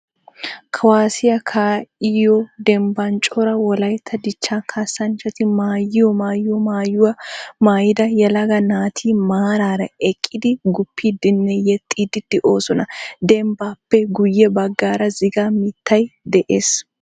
Kuwaassiya kaa"iyoo dembban cora wolayitta dichchaa kaassanchati maayiyo maayiyo maayuwa maayida yelaga naati maaraara eqqidi guppiiddinne yexxiiddi de'oosona. Dembbaappe guyye baggaara ziggaa mittay de'ees.